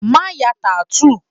Má ya tattoo!